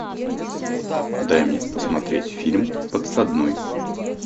дай мне посмотреть фильм подсадной